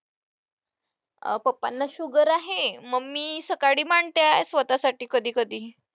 अं पप्पांना sugar आहे, मग मी सकाळी मांडते स्वतःसाठी कधी कधी.